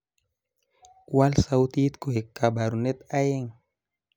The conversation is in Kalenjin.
wal sautit koe kabarunet aeng